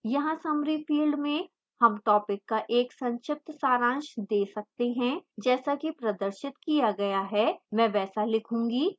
यहाँ summary field में हम topic का एक संक्षिप्त सारांश दे सकते हैं जैसा कि प्रदर्शित किया गया है मैं वैसा लिखूंगी